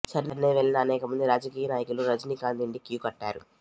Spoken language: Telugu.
చెన్నై వెళ్లిన అనేక మంది రాజకీయ నాయకులు రజనీకాంత్ ఇంటికి క్యూ కట్టారు